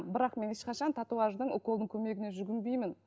бірақ мен ешқашан татуаждың уколдың көмегіне жүгінбеймін